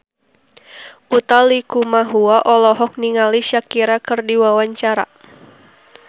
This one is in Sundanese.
Utha Likumahua olohok ningali Shakira keur diwawancara